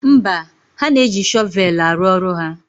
Mba, ha na-eji shọvelụ arụ ọrụ ha.